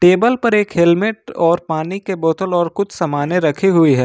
Table पर एक helmet और पानी के बोतल और कुछ सामाने रखें हुई है।